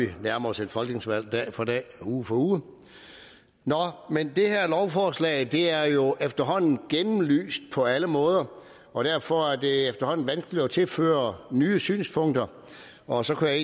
vi nærmer os et folketingsvalg dag for dag uge for uge nå men det her lovforslag er jo efterhånden gennemlyst på alle måder og derfor er det efterhånden vanskeligt at tilføre nye synspunkter og så kunne jeg